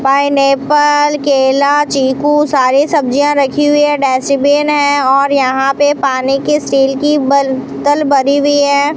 Pineapple केला चीकू सारी सब्जियां रखी हुई है डस्टबिन है और यहां पे पानी की स्टील की बर्तल भरी हुई है।